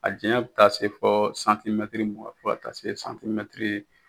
A janya bɛ taa se fɔ santimɛtiri mugan fɔ ka taa se santimɛtiri